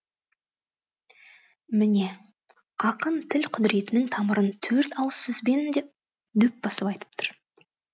міне ақын тіл құдіретінің тамырын төрт ауыз сөзбен дөп басып айтып тұр